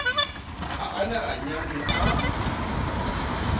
ha a na anyalwe a